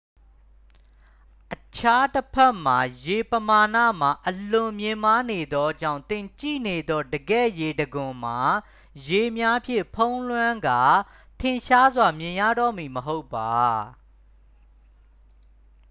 အခြားတဖက်တွင် ရေပမာဏမှာ အလွန်မြင့်မားနေသောကြောင့် သင်ကြည့်နေသော တကယ့်ရေတံခွန်မှာ ရေများဖြင့်ဖုံးလွှမ်းကာ ထင်ရှားစွာမြင်ရတော့မည် မဟုတ်ပါ